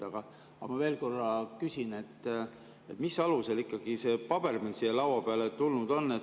Aga ma veel korra küsin, mis alusel see paber meile siia laua peale tulnud on.